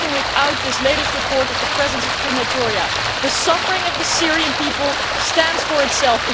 But even without this latest report of the presence of crematoria, the suffering of the Syrian people speaks for itself.